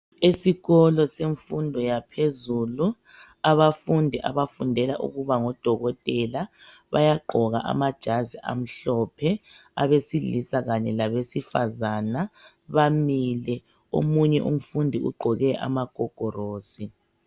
Esikolo semfundo yaphezulu abafundi abafundela ukuba ngo dokotela bayagqoka amajazi amhlophe abesilisa kanye labesifazana bamile omunye umfundi ugqoke ama gogorosi.